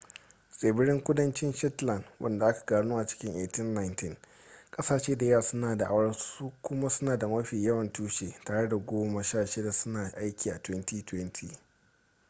tsibirin kudancin shetland wanda aka gano a cikin 1819 kasashe da yawa suna da'awar su kuma suna da mafi yawan tushe tare da goma sha shida suna aiki a 2020